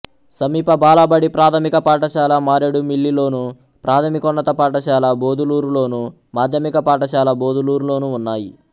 సమీప బాలబడి ప్రాథమిక పాఠశాల మారేడుమిల్లిలోను ప్రాథమికోన్నత పాఠశాల బొదులూరులోను మాధ్యమిక పాఠశాల బొదులూరులోనూ ఉన్నాయి